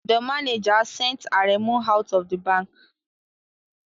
The manager sent Aremu out of the bank